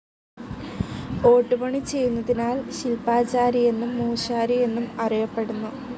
ഓട്ടുപണി ചെയ്യുന്നതിനാൽ ശില്പ്പാചാരി എന്നും മൂശാരി എന്നും അറിയപ്പെടുന്നു.